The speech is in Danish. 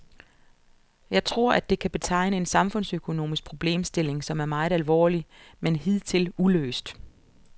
Jeg tror, at det kan betegne en samfundsøkonomisk problemstilling, som er meget alvorlig, men hidtil uløst.